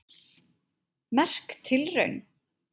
Merk tilraun